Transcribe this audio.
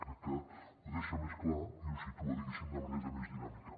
crec que ho deixa més clar i ho situa diguéssim de manera més dinàmica